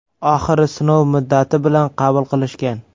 Oxiri sinov muddati bilan qabul qilishgan.